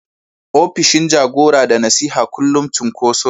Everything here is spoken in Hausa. opishin jagora da nasiha kullum cunkoso ne.